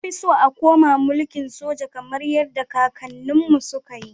Nafi so a koma milkin soja kamar yadda kakannin mu su kayi